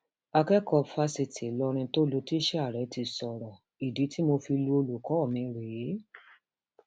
akẹkọọ fásitì ìlọrin tó lu tíṣà rẹ ti sọrọ ìdí tí mo fi lu olùkọ mi rèé